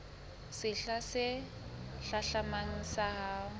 sehla se hlahlamang sa ho